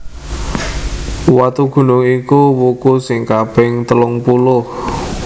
Watugunung iku wuku sing kaping telungpuluh